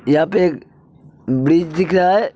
यहा पे एक ब्रिज दिख रा हे --